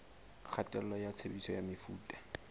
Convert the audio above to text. kgatello ya tshebediso ya mefuta